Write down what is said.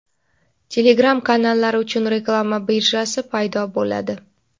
Telegram kanallari uchun reklama birjasi paydo bo‘ladi;.